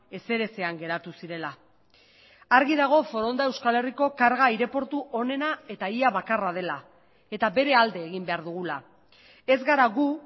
ezer ezean geratu zirela argi dago foronda euskal herriko karga aireportu onena eta ia bakarra dela eta bere alde egin behar dugula ez gara gu